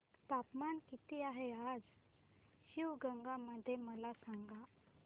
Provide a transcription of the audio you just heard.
तापमान किती आहे आज शिवगंगा मध्ये मला सांगा